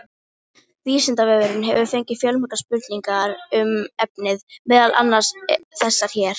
Vísindavefurinn hefur fengið fjölmargar spurningar um efnið, meðal annars þessar hér: